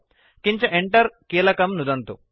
किञ्च Enter कीलकं नुदन्तु